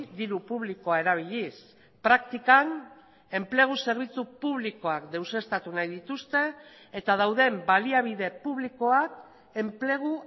diru publikoa erabiliz praktikan enplegu zerbitzu publikoak deuseztatu nahi dituzte eta dauden baliabide publikoak enplegu